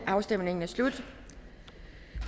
afstemningen er slut